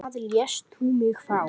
Hvað lést þú mig fá?